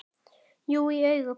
Jú, í augum pabba